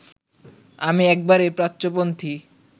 আমি একেবারেই প্রাচ্যপন্থী